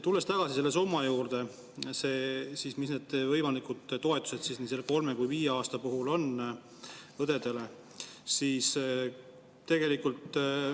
Tulen tagasi nende summade juurde, millised on need õdede võimalikud toetused, kui töötamise aeg on kolm või viis aastat.